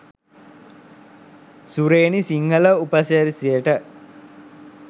සුරේනි සිංහල උපසිරැසියට.